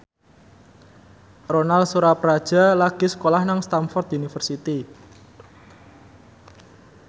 Ronal Surapradja lagi sekolah nang Stamford University